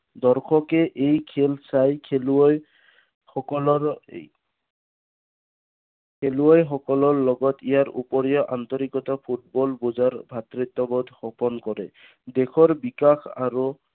দৰ্শকে এই খেল চাই খেলুৱৈ সকলৰ, খেলুৱৈ সকলৰ লগত ইয়াৰ ওপৰিও আন্তৰিকতা ফুটবল ভোজৰ ভাতৃত্ববোধ অৰ্পণ কৰে। দেশৰ বিকাশ আৰু